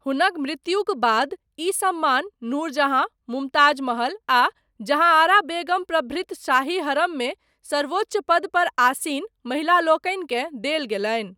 हुनक मृत्युक बाद ई सम्मान नूरजहाँ, मुमताज महल, आ जहाँआरा बेगम प्रभृत, शाही हरममे सर्वोच्च पदपर आसीन, महिलालोकनिकेँ देल गेलनि।